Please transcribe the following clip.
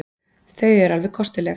Þau eru alveg kostuleg.